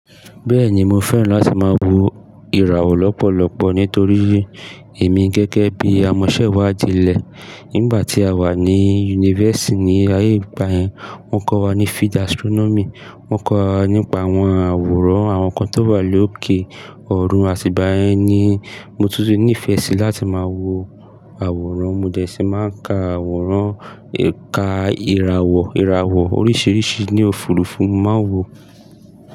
Bẹ́ẹ̀ni mo fẹ́ràn láti máa wo ìràwọ̀ lọ́pọ̀lọpọ̀ nítorí èmi gẹ́gẹ́ bí amọ̀sẹ́wàdí ilẹ̀ nígbà tí a wà ní yunifásítì ní ayé ìgbà yẹ́n, wọ́n kọ́ wa ní field astronomy. Wọn kọ́ wa nípa àwọn àwòrán àwọn nnkan tó wà lókè ọ̀run àti ìgbà yẹ́n ni mo tún ti ní ìfẹ́ sí láti máa wo àwòrán. Mo dẹ̀ si máa ń ka àwòrán, ka ìràwọ̀, ìràwọ̀ oríṣiríṣi ní òfuurufú, mo màá n wo.